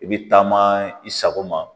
I bi taama i sago ma